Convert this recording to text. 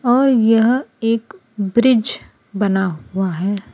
और यह एक ब्रिज बना हुआ है।